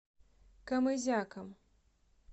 камызяком